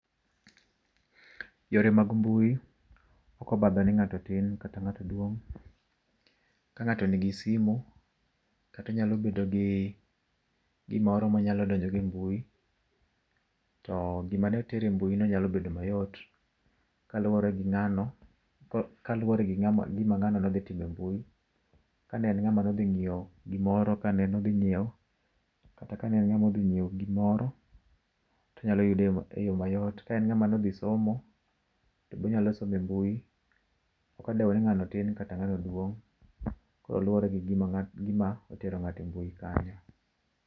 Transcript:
Yore mag mbui ok obadho ni ngato tin kata ngato duong. Ka ngato nigi simu kata onyalo bedo gi gimoro monyalo donjo go e mbui ,to gimane tere e mbui no nyalo bedo mayot kaluore gi ngano, kaluore gi gima ngano nodhi timoe mbui. Kaen ngama nodhi ngiew, gimoro, kane en ngama nodhi nyiew gimoro odhi yude e yoo mayot. Kaen ngama nodhi somo tobe onyalo somo e mbui, ok odweo ni ngano tin kata ngano duong koro luore gi gim aotero ngato e mbui kanyo.